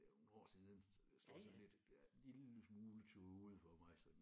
Det er jo nogle år siden så det står sådan lidt lille smule tåget for mig sådan